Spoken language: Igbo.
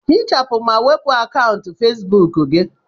Hichapụ ma wepu akaụntụ Fesibuku gị.